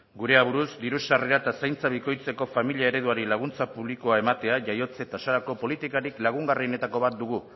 gure aburuz diru sarrera eta zaintza bikoitzeko familia ereduari laguntza publikoa ematea jaiotze tasarako politikarik lagungarrienetako bat dugu